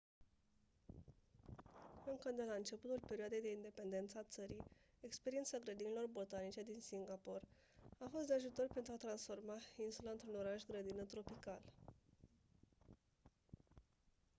încă de la începutul perioadei de independență a țării experiența grădinilor botanice din singapore a fost de ajutor pentru a transforma insula într-un oraș-grădină tropical